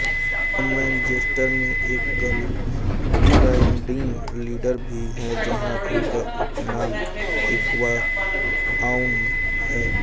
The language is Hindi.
वह मैनचेस्टर में एक गर्लगाइडिंग लीडर भी हैं जहां उनका उपनाम एक्वा आउल है